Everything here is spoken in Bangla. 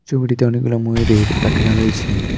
টুপিটিতে অনেকগুলা ময়ূরের পাখনা রয়েছে।